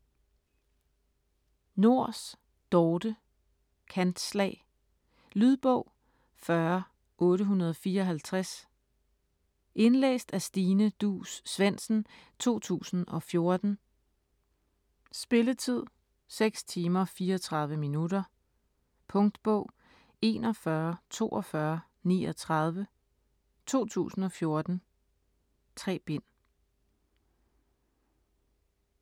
Nors, Dorthe: Kantslag Lydbog 40854 Indlæst af Stine Duus Svendsen, 2014. Spilletid: 0 timer, 34 minutter. Punktbog 414239 2014. 3 bind.